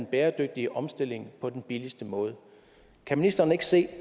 bæredygtige omstilling på den billigste måde kan ministeren ikke se